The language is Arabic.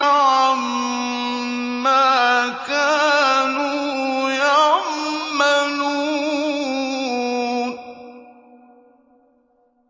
عَمَّا كَانُوا يَعْمَلُونَ